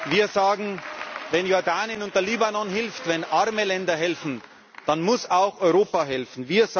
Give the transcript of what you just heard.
Wir sagen Wenn Jordanien und der Libanon helfen, wenn arme Länder helfen, dann muss auch Europa helfen.